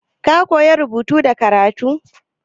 Ka koya rubutu da karatu?